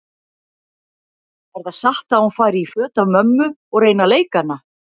Er það satt að hún fari í föt af mömmu og reyni að leika hana?